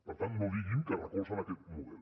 per tant no diguin que recolzen aquest model